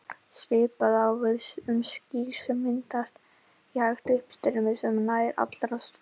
Svipað á við um ský sem myndast í hægu uppstreymi sem nær yfir allstórt svæði.